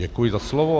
Děkuji za slovo.